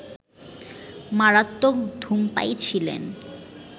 মারাত্মক ধূমপায়ী ছিলেন